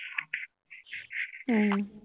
উম